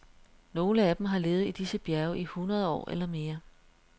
Nogle af dem har levet i disse bjerge i hundrede år eller mere.